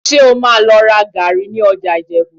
Ṣé o máa lọ ra gàárì ní ọjà Ìjẹ̀bú?